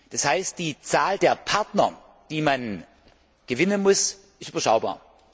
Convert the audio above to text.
Das heißt die Zahl der Partner, die man gewinnen muss, ist überschaubar.